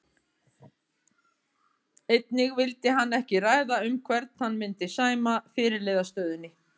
Einnig vildi hann ekki ræða um hvern hann myndi sæma fyrirliðastöðunni.